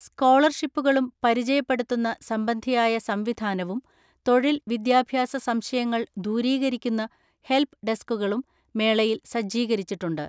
സ്കോളർഷിപ്പുകളും പരിചയപ്പെടുത്തുന്ന സംബന്ധിയായ സംവിധാനവും, തൊഴിൽ വിദ്യാഭ്യാസ സംശയങ്ങൾ ദൂരീകരിക്കുന്ന ഹെൽപ് ഡെസ്ക്കുകളും മേളയിൽ സജ്ജീകരിച്ചിട്ടുണ്ട്.